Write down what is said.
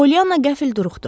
Polyanna qəfil duruxdu.